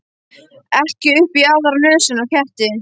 Ekki upp í aðra nösina á ketti.